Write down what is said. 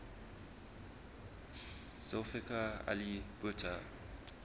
zulfikar ali bhutto